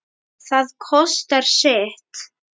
Það kostar sitt.